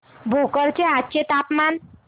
भोकर चे आजचे तापमान